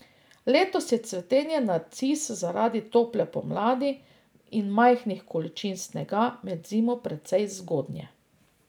Letos je cvetenje narcis zaradi tople pomladi in majhnih količin snega med zimo precej zgodnje.